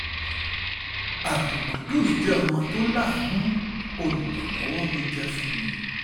abdul qudus jẹ́ ọmọ jẹ́ ọmọ tó láàánú olùrànlọ́wọ́ ló jẹ́ fún mi